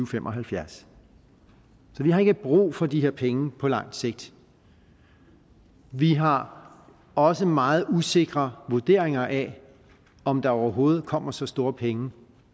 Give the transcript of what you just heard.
fem og halvfjerds så vi har ikke brug for de her penge på lang sigt vi har også meget usikre vurderinger af om der overhovedet kommer så store penge